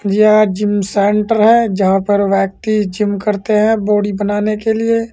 जा gym centre है जहां पर व्यक्ति जिम करते हैं बॉडी बनाने के लिए।